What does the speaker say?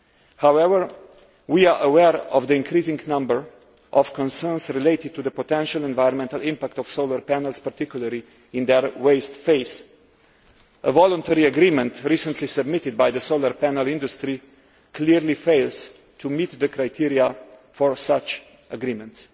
However, we are aware of the increasing number of concerns relating to the potential environmental impact of solar panels, particularly in their waste phase. A voluntary agreement recently submitted by the solar panel industry clearly fails to meet the criteria for such agreements.